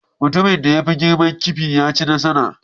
Mutumin da ya fi girma kifi ya ci nasara